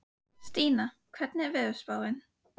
Stína, hvernig er veðurspáin?